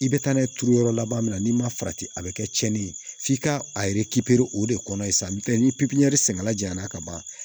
I bɛ taa n'a ye turu yɔrɔ laban min na n'i ma farati a bɛ kɛ cɛnni ye f'i ka a o de kɔnɔ ye sa ni pipiniyɛri senfɛla jayanna ka ban